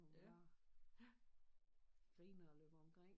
Hvor man bare griner og løber omkring